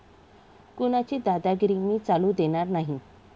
कुणाची दादागिरी मी चालू देणार नाही.